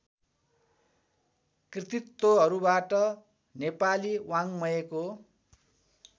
कृतित्वहरूबाट Nepali वाङ्मयको